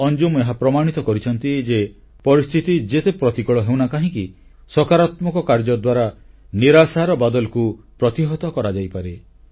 ଅଞ୍ଜୁମ ଏହା ପ୍ରମାଣିତ କରିଛନ୍ତି ଯେ ପରିସ୍ଥିତି ଯେତେ ପ୍ରତିକୂଳ ହେଉନା କାହିଁକି ସକାରାତ୍ମକ କାର୍ଯ୍ୟ ଦ୍ୱାରା ନିରାଶାର କଳାବାଦଲକୁ ପ୍ରତିହତ କରାଯାଇପାରେ